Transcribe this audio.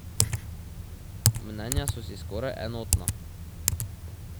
Mnenja so si skoraj enotna.